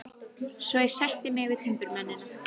Svo ég sætti mig við timburmennina.